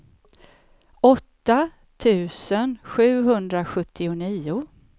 åtta tusen sjuhundrasjuttionio